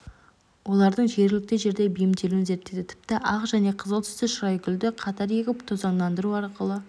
олардың жергілікті жерде бейімделуін зерттейді тіпті ақ және қызыл түсті шырайгүлді қатар егіп тозаңдандыру арқылы